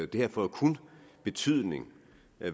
det her får jo kun betydning